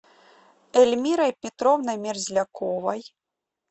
эльмирой петровной мерзляковой